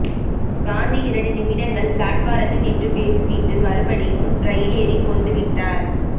காந்தி இரண்டு நிமிடங்கள் பிளாட்பாரத்தில் நின்று பேசிவிட்டு மறுபடியும் ரயிலேறிக் கொண்டுவிட்டார்